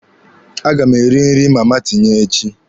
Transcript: A ga m eri nri na Mama Tinye echi.